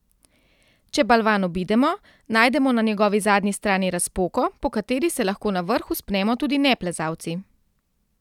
Če balvan obidemo, najdemo na njegovi zadnji strani razpoko, po kateri se lahko na vrh vzpnemo tudi neplezalci.